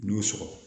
N'i y'o sɔrɔ